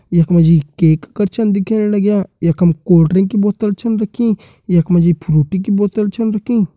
यख मा जी केक कर छन दिखेण लग्यां यखम कोल्ड ड्रिंक की बोतल छन रखीं यख मा जी फ्रूईटी की बोतल छन रखीं।